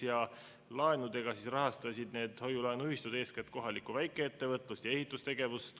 Need hoiu-laenuühistud rahastasid laenuga eeskätt kohalikku väikeettevõtlust ja ehitustegevust.